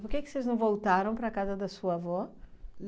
Por que que vocês não voltaram para a casa da sua avó?